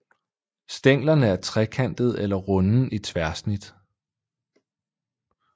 Stænglerne er trekantede eller runde i tværsnit